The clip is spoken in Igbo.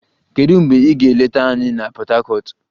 Kedu mgbe ị ga-eleta anyị na Port Harcourt?